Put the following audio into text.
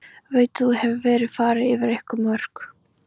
Veit að nú hefur verið farið yfir einhver mörk.